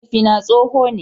Mahaifina tsoho ne.